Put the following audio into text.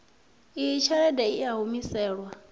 iyi tshelede i a humiselwa